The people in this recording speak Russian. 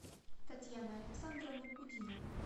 татьяна александровна кудинова